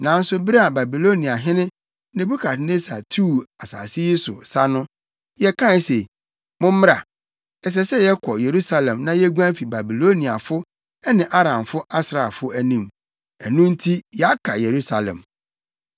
Nanso bere a Babiloniahene Nebukadnessar tuu asase yi so sa no, yɛkae se, ‘Mommra, ɛsɛ sɛ yɛkɔ Yerusalem na yeguan fi Babiloniafo ne Aramfo asraafo anim.’ Ɛno nti yɛaka Yerusalem.”